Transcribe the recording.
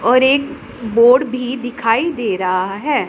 और एक बोर्ड भी दिखाई दे रहा है।